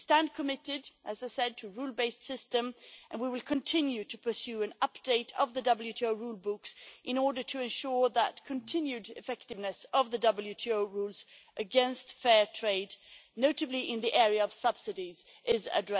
We stand committed, as I said, to a rule based system and we will continue to pursue an update of the WTO rulebooks in order to ensure that continued effectiveness of the WTO rules against fair trade notably in the area of subsidies is addressed as well.